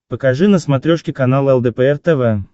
покажи на смотрешке канал лдпр тв